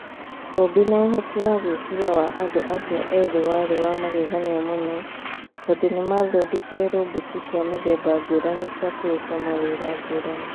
Ũũmbi na ũhoti wa gwĩciria wa andũ acio ethĩ warĩ wa magegania mũno tondũ nĩ maathondekire roboti cia mĩthemba ngũrani cia kũruta mawĩra ngũrani.